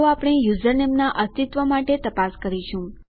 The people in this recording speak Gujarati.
તો આપણે યુઝરનેમના અસ્તિત્વ માટે તપાસ કરીશું